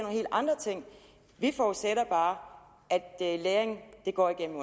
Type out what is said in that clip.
helt andre ting vi forudsætter bare at læring går igennem